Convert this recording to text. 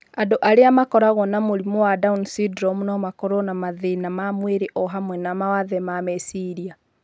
Andũ arĩa makoragũo na mũrimũ wa down syndrome no makorũo na mathĩĩna ma mwĩrĩ o hamwe na mawathe ma meciria.